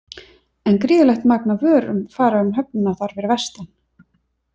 En gríðarlegt magn af vörum fara um höfnina þar fyrir vestan.